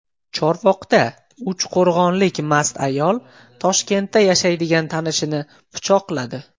Chorvoqda uchqo‘rg‘onlik mast ayol Toshkentda yashaydigan tanishini pichoqladi.